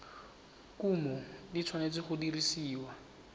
kumo di tshwanetse go dirisiwa